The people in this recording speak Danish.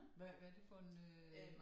Hvad hvad det for en øh